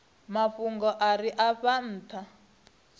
mafhungo a re afho ntha